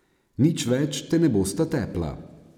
Nič več te ne bosta tepla.